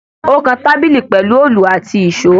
Ó kan tábìlì pẹ̀lu òòlù àti ìṣọ.